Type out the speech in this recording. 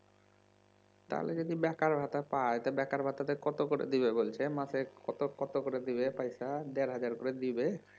তাহলে যদি বেকার ভাতা পাই বেকার ভাতা তে কত করে দিবে বলছে মাসে কত কত করে দিবে বলছে পয়সা দেড় হাজার করে দিবে